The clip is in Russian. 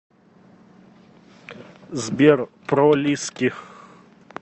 сбер пролиски